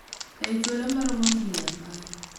ei thuolo maromo higni apar,